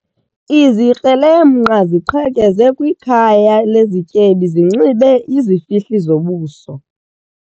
Izikrelemnqa ziqhekeze kwikhaya lezityebi zinxibe izifihli zobuso.